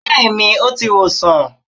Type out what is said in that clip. bẹẹni, o ti wosan